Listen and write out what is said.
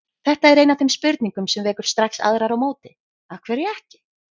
Þetta er ein af þeim spurningum sem vekur strax aðrar á móti: Af hverju ekki?